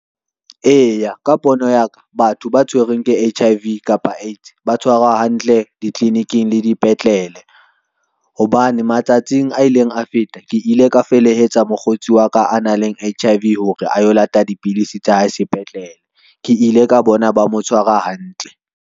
Eya, ka pono ya ka. Batho ba tshwerweng ke H_I_V kapa AIDS ba tshwarwa hantle ditliliniking le dipetlele. Hobane matsatsing a ileng a feta ke ile ka felehetsa mokgotsi wa ka a nang le H_I_V hore a yo lata dipidisi tsa hae sepetlele, ke ile ka bona ba mo tshwara hantle.